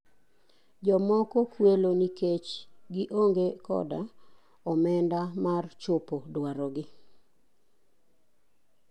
Jomoko kuelo nikech gi onge koda omenda mar chopo dwaro gi.